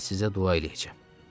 Mən sizə dua eləyəcəm.